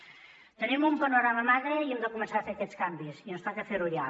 tenim un panorama magre i hem de començar a fer aquests canvis i ens toca ferho ja